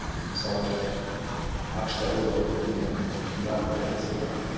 мысалы ақш та роберт путнам деген гарвард профессоры бар